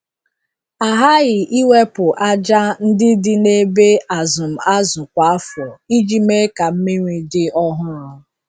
A ghaghị iwepụ aja ndị dị na ebe azụm azụ kwa afọ iji mee ka mmiri dị ọhụrụ.